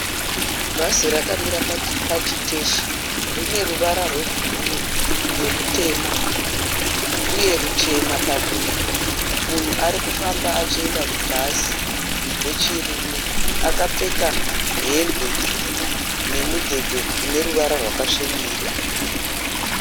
Bhazi rakamira pachiteshi. Rine ruvara rwebhuruu nerutema uye ruchena padumbu. Munhu arikufamba achienda kubhazi wechirume. Akapfeka hembe tsvuku nemudhebhe une ruvara rwakasvibira.